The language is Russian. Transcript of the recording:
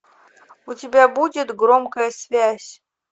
у тебя будет громкая связь